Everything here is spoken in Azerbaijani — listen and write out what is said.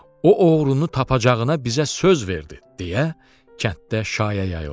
O oğrunu tapacağına bizə söz verdi”, deyə kənddə şayə yayıldı.